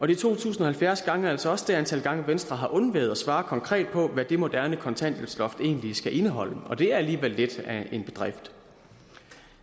de to tusind og halvfjerds gange er altså også det antal gange venstre har undladt at svare konkret på hvad det moderne kontanthjælpsloft egentlig skal indeholde det er alligevel lidt af en bedrift